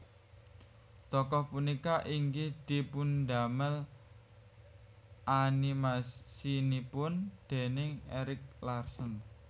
Tokoh punika inggih dipundamel animasinipun déning Eric Larson